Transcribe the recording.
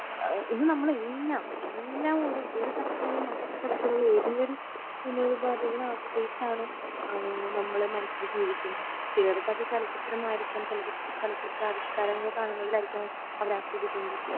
എഹ് ഇന്ന് നമ്മൾ എല്ലാം എല്ലാം ഒരു തരത്തിൽ അല്ലങ്കിൽ മറ്റൊരു തരത്തിൽ ഉള്ള ഏതെങ്കിലും വിനോദപാതികളെ ആശ്രയിച്ചാണ് ആഹ് നമ്മൾ മനുഷ്യർ ജീവിക്കുന്നെ ചിലർക്കത് ചലച്ചിത്രം ആയിരിക്കാം ചലച്ചിത്രാവിഷ്കാരങ്ങൾ കാണുന്നതിലായിരിക്കണം അവർ